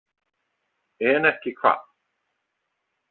En ekki hvað?